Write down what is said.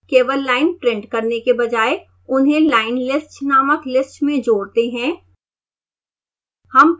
केवल line print करने के बजाय उन्हें line_list नामक लिस्ट में जोड़ते हैं